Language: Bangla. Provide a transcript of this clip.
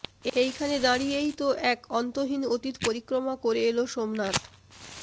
এইখানে দাঁড়িয়েই তো এক অন্তহীন অতীত পরিক্রমা করে এলো সোমনাথ